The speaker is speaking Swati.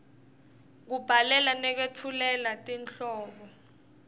kubhalela nekwetfulela tinhlobo